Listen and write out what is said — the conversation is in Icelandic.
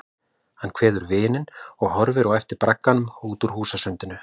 Hann kveður vininn og horfir á eftir bragganum út úr húsasundinu.